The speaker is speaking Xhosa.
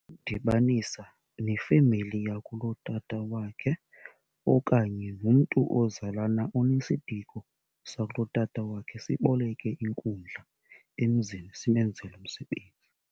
Udibanisa nefemeli yakulotata wakhe okanye nomntu ozalana onesiduko sakulotata wakhe, siboleke inkundla emzini simenzele umsebenzi.